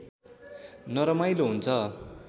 नरमाइलो हुन्छ